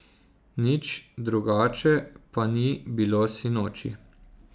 Nič drugače pa ni bilo sinoči.